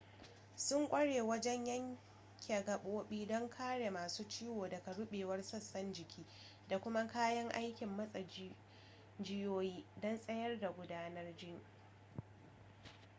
sun ƙware wajen yanke gaɓoɓi don kare masu ciwo daga ruɓewar sashen jiki da kuma kayan aikin matse jijiyoyi don tsayar da gudanar jini